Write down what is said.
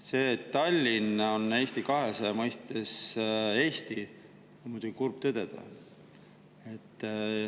Seda, et Tallinn on Eesti 200 mõistes kogu Eesti, on muidugi kurb tõdeda.